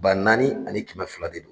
Ba naani ani kɛmɛ fila de do.